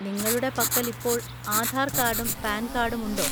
നിങ്ങളുടെ പക്കൽ ഇപ്പോൾ ആധാർ കാർഡും പാൻ കാർഡും ഉണ്ടോ?